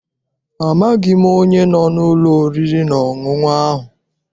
Amaghị m onye no n'ụlọ oriri na ọṅụṅụ ahụ.